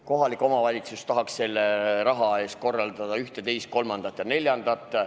Kohalik omavalitsus tahaks selle raha eest korraldada ühte, teist, kolmandat ja neljandat.